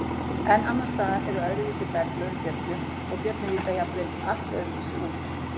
En annars staðar eru öðruvísi berglög í fjöllunum og fjöllin líta jafnvel allt öðruvísi út.